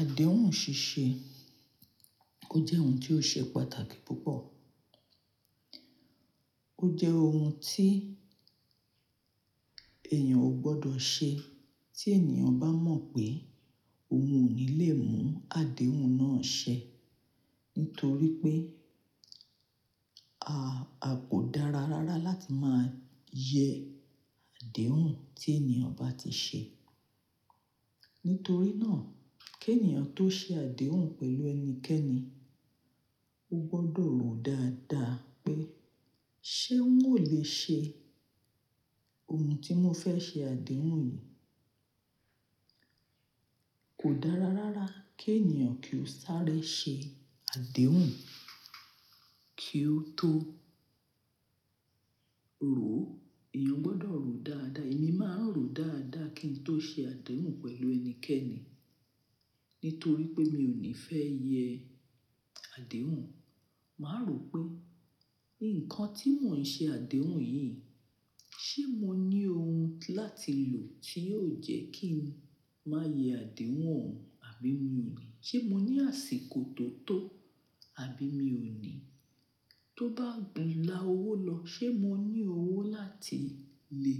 Àdéhùn ṣíṣe, ó jẹ́ ohun tí ó ṣe pàtàkì púpọ̀. Ó jẹ́ ohun tí èèyàn ò gbọdọ̀ ṣe tí ènìyàn bá mọ̀ pé òun ò ní lè mú àdéhùn náà ṣẹ, nítorí pé a, a kò dára rárá láti máa yẹ àdéhùn tí ènìyàn bá ti ṣe. Nítorí náà, kí ènìyàn tó ṣe àdéhùn pẹ̀lú ẹnikẹ́ni, ó gbọdọ̀ rò dáadáa pé ṣé oun o lè ṣe oun tí mo fẹ́ ṣe àdéhùn yìí. Kò dára rárá kí ènìyàn kí ó sáré ṣe àdéhùn kí ó tó rò. Ẹ̀yàn gbọdọ̀ rò dáadáa. Èmi máa ń rò dáadáa kí n tó ṣe àdéhùn pẹ̀lú ẹnikẹ́ni, nítorí pé mi ò ní fẹ́ yẹ àdéhùn. Màá rò pé nǹkan tí mò ń ṣe àdéhùn yìí, ṣé mo ní ohun láti lò tí yóò jẹ́ kí n má yẹ àdéhùn o hun àbí mi ò ní? Ṣé mo ní àsìkò tó tó àbí mi ò ní? Tó bá gún lá owó lọ, ṣé mo ní owó láti lè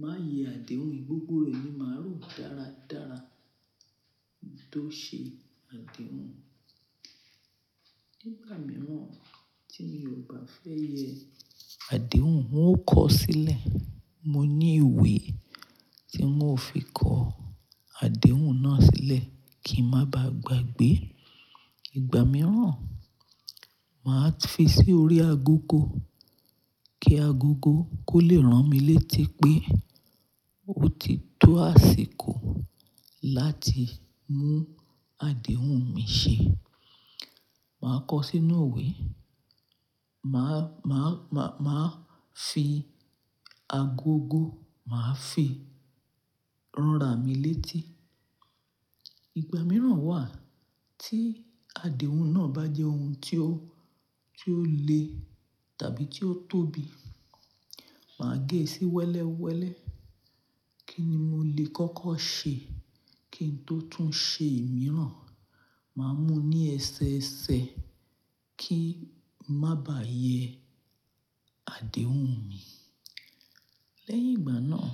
máa yẹ àdéhùn yìí? Gbogbo re ni màá rò dáradára kí n tó ṣe àdéhùn. Nigba mìíràn tí mi ò bá fẹ́ yẹ àdéhùn, n ó kọ̀ sílẹ̀. Mo ní ìwé tí mo fi kọ àdéhùn náà sílẹ̀ kí ń má ba à gbàgbé. Igba mìíràn, màá fi sí orí agogo kí agogo kó lè rán mi létí pé ó ti tó àsìkò láti mú àdéhùn mi ṣe. Màá kọ sínú ìwé, màá, màá, màá, màá fi agogo, màá fi ran ra mi létí. Igba mìíràn wà tí àdéhùn náà bá jẹ́ ohun tí ó, tí ó le tàbí tí ó tóbi, màá gé è sí wẹ́lẹ́wẹ́lẹ́ kí ni mo lè kọ́kọ́ ṣe kí n tó tún ṣe èmi rán. Màá mú ní ẹsẹ ẹsẹ kí ń má bá yẹ àdéhùn mi. Lẹ́yìn ìgbà náà,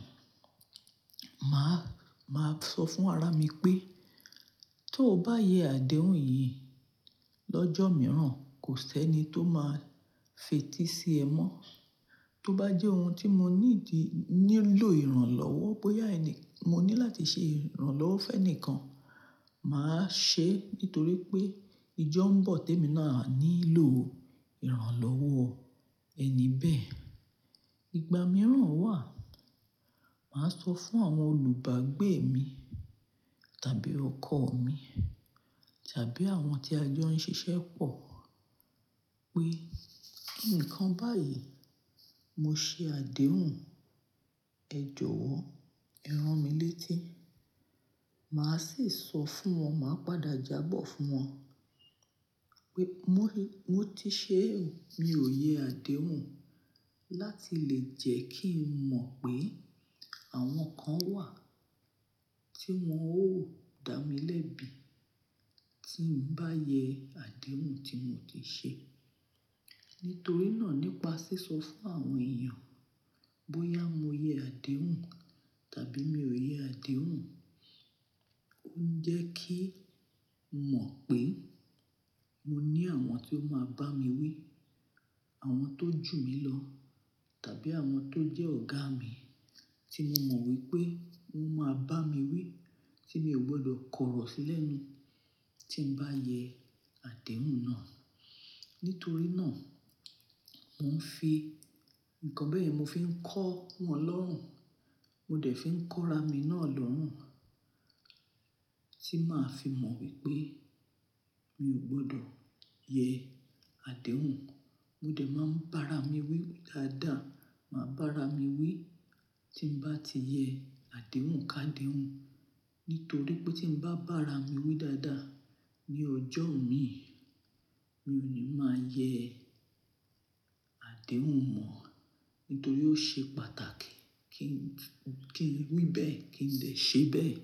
màá, màá sọ fún ara mi pé tó bá yẹ àdéhùn yìí lọ́jọ́ mìíràn, kò sẹ́ni tó máa fetí sí ẹ mọ́. Tó bá jẹ́ ohun tí mo nídi, nílò ìrànlọ́wọ́, bóyá ẹni, mo ní láti ṣe ìrànlọ́wọ́ fẹ́nìkan, màá ṣe é nítorí pé ijọ́ ń bọ̀ tí èmi náà á nílò ìrànlọ́wọ́ ẹni bẹ́ẹ̀. Igba mìíràn wà, màá sọ fún àwọn olùbágbé mi tàbí ọkọ mi tàbí àwọn tí a jọ ń ṣiṣẹ́ pọ̀ pé nǹkan báyìí mo ṣe àdéhùn, ẹ jọ̀wọ́ rán mi létí. Màá sì sọ fún wọn, màá padà jáa bọ́ fún wọn. Pé mo ti ṣe, mi ò yẹ àdéhùn láti lè jẹ́ kí n mọ̀ pé àwọn kan wà tí wọn ó dá mi lẹ́bi tí ń bá yẹ àdéhùn tí mo ti ṣe. Nítorí náà nípa sísọ fún àwọn èèyàn bóyá mo yẹ àdéhùn tàbí mi ò yẹ àdéhùn, ó ń jẹ́ kí n mọ̀ pé mo ní àwọn tí ó máa bá mi wí, àwọn tó jù mí lọ tàbí àwọn tó jẹ́ ọ̀gá mi tí mo mọ̀ wípé wọn máa bá mi wí Tí mi ò gbọdọ̀ kọ̀rọ̀ sí lẹ̀ nu tí ń bá yẹ àdéhùn náà. Nítorí náà mò ń fi, nǹkan bẹ́ẹ̀ yẹn mo fi ń kọ́ wọn lọ́rùn, mo dẹ̀ fi ń kọ́ra mi náà lọ́rùn tí màá fi mọ wípé mi ò gbọdọ̀ yẹ àdéhùn. Mo dẹ̀ máa ń bá ara mi wí dáadáa, màá bá ara mi wí tí ń bá ti yẹ àdéhùn ká déhùn, nítorí pé tí ń bá bá ara mi wí dáadáa ní ọjọ́ mi, mi ò ní máa yẹ Adéhùn mọ́, nítorí ó ṣe pàtàkì kí n, kí n wí bẹ́ẹ̀, kí n lè ṣe bẹ́ẹ̀.